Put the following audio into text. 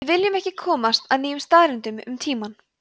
við viljum ekki komast að nýjum staðreyndum um tímann